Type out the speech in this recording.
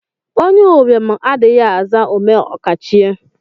Onye ụbịam adịghị aza omeokachie.